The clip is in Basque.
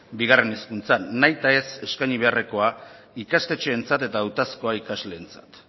bigarren hezkuntzan nahitaez eskaini beharrekoa ikastetxeentzat eta hautazkoa ikasleentzat